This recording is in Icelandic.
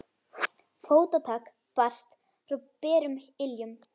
Fótatak barst frá berum iljum.